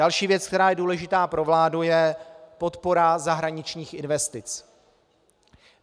Další věc, která je důležitá pro vládu, je podpora zahraničních investic.